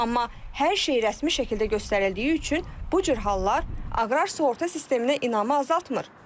Amma hər şey rəsmi şəkildə göstərildiyi üçün bu cür hallar aqrar sığorta sisteminə inamı azaltmır.